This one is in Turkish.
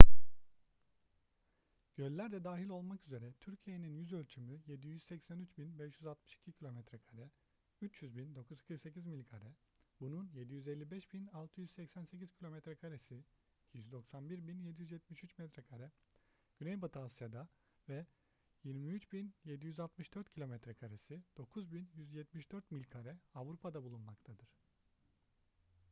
göller de dahil olmak üzere türkiye'nin yüzölçümü 783.562 kilometrekare 300.948 mil kare bunun 755.688 kilometrekaresi 291.773 metrekare güneybatı asya'da ve 23.764 kilometre karesi 9.174 mil kare avrupa'da bulunmaktadır